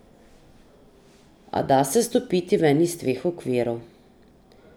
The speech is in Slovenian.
A da se stopiti ven iz teh okvirov.